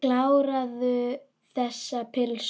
Kláraðu þessa pylsu.